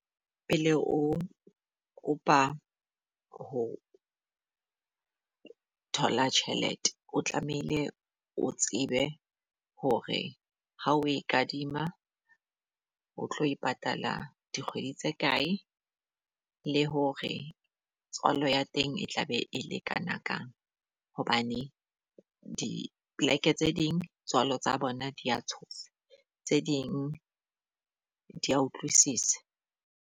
Pele o kopa ho thola tjhelete, o tlamehile o tsebe hore ha o e kadima o tlo e patala dikgwedi tse kae le hore tswalo ya teng e tla be e lekana ka. Hobane dipleke tse ding tswalo tsa bona dia tshosa, tse ding di a utlwisisa.